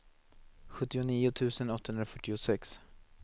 sjuttionio tusen åttahundrafyrtiosex